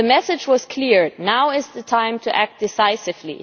The message was clear now is the time to act decisively.